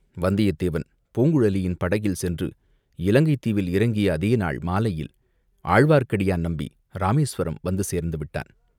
வந்தியத்தேவன் பூங்குழலியின் படகில் சென்று இலங்கைத் தீவில் இறங்கிய அதே நாள் மாலையில் ஆழ்வார்க்கடியான் நம்பி இராமேசுவரம் வந்து சேர்ந்துவிட்டான்.